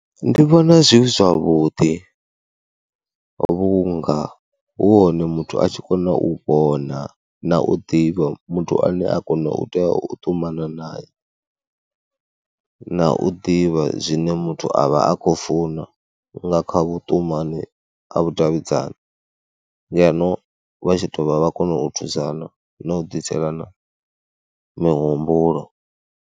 Ndi vhona zwi zwavhuḓi vhunga hu hone muthu a tshi kona u vhona na u ḓivha muthu ane a kona u tea u ṱumana nae na u ḓivha zwine muthu a vha a khou funa nga kha vhuṱumani a vhudavhidzani ngeno vha tshi dovha vha kona u thusana na u ḓiselana mihumbulo.